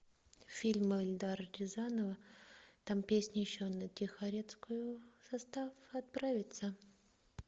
фильм эльдара рязанова там песня еще на тихорецкую состав отправится